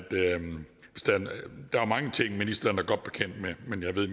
der er mange ting ministeren er godt bekendt med men jeg ved i